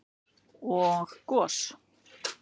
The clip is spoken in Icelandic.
og gos.